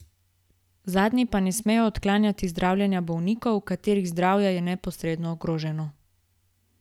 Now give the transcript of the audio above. Zadnji pa ne smejo odklanjati zdravljenja bolnikov, katerih zdravje je neposredno ogroženo.